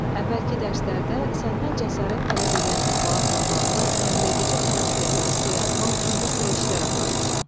Əvvəlki dərslərdə səndən cəsarət tələb eləyən əhvalatla bağlı nəql edici xarakterli esse yazmaq üçün bir sıra işlər aparmısan.